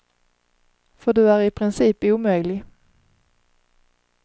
För du är i princip omöjlig.